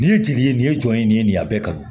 Nin ye jeli ye nin ye jɔn ye nin ye nin ye a bɛɛ kan